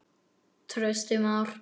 Trausti Már.